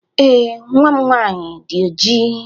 Ee, nwa m nwanyị dị ojii.